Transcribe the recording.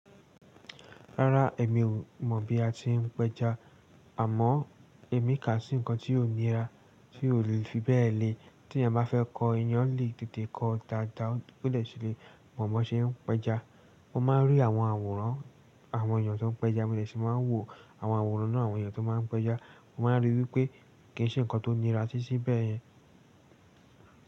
Rárá, èmi ò mọ̀ bí a ti ń pẹja, àmọ́ èmi kà sí nǹkan tí ó nira, tí ò lè fi bẹ́ẹ̀ le. Tí ẹeyan bá fẹ́ kọ eeyán le tètè kọ daadaa, ó lè ṣe lé. Mọ̀ bo ṣe ń pẹja, mo máa ń rí àwọn àwòrán àwọn èèyàn tó ń pẹja, mo dè ṣì máa ń wò àwọn àwòrán náà, àwọn èèyàn tó máa ń pẹja, mo máa ń rí wípé kì ń ṣe ǹkan tó nira titi bẹ̀ yẹn.